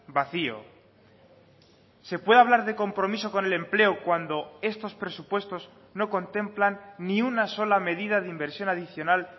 vacío se puede hablar de compromiso con el empleo cuando estos presupuestos no contemplan ni una sola medida de inversión adicional